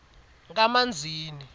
kamanzini